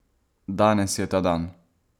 Danes je ta dan!